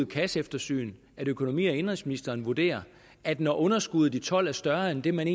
kasseeftersyn at økonomi og indenrigsministeren vurderer at når underskuddet i tolv er større end det man